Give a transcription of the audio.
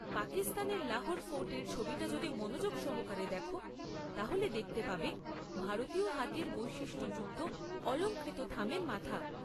পাকিস্তানের লাহোর ফোর্টের ছবিটা যদি মনোযোগ সহকারে দেখো, তাহলে দেখতে পাবে ভারতীয় হাতির বৈশিষ্ট্যযুক্ত অলঙ্কৃত থামের মাথা।